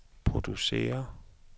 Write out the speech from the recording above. producerer